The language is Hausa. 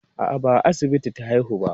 A'a, ba a asibiti ta haihu ba.